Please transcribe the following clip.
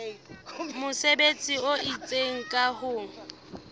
mesebetsi e itseng ka ho